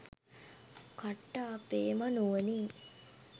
කට්ට අපේම නුවනින්